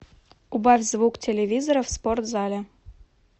убавь звук телевизора в спортзале